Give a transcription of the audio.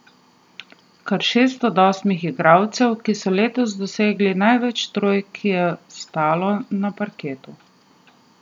Kar šest od osmih igralcev, ki so letos dosegli največ trojk, je stalo na parketu.